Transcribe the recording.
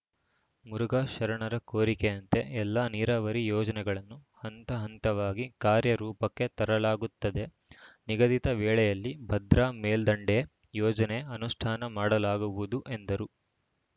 ಮುರುಘಾ ಶರಣರ ಕೋರಿಕೆಯಂತೆ ಎಲ್ಲ ನೀರಾವರಿ ಯೋಜನೆಗಳನ್ನು ಹಂತ ಹಂತವಾಗಿ ಕಾರ್ಯ ರೂಪಕ್ಕೆ ತರಲಾಗುತ್ತದೆ ನಿಗದಿತ ವೇಳೆಯಲ್ಲಿ ಭದ್ರಾ ಮೇಲ್ದಂಡೆ ಯೋಜನೆ ಅನುಷ್ಠಾನ ಮಾಡಲಾಗುವುದು ಎಂದರು